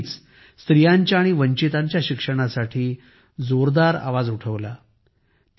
त्यांनी नेहमीच स्त्रियांच्या आणि वंचितांच्या शिक्षणासाठी जोरदार आवाज उठवला